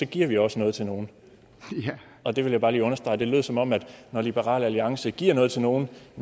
giver vi også noget til nogen og det vil jeg bare lige understrege det lød som om der når liberal alliance giver noget til nogen